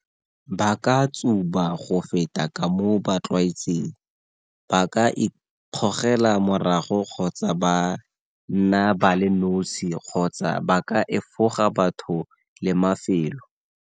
Ba ka tsuba go feta ka moo ba tlwaetseng, ba ka ikgogela morago kgotsa ba nna ba le nosi kgotsa ba ka efoga batho le mafelo.